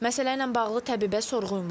Məsələ ilə bağlı təbibə sorğu ünvanladıq.